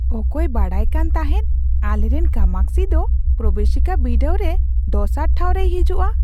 ᱚᱠᱚᱭ ᱵᱟᱰᱟᱭᱠᱟᱱ ᱛᱟᱦᱮᱸᱫ ᱟᱞᱮᱨᱮᱱ ᱠᱟᱢᱟᱠᱥᱷᱤ ᱫᱚ ᱯᱨᱚᱵᱮᱥᱤᱠᱟ ᱵᱤᱰᱟᱹᱣ ᱨᱮ ᱫᱚᱥᱟᱨ ᱴᱷᱟᱣ ᱨᱮᱭ ᱦᱤᱡᱩᱜᱼᱟ ?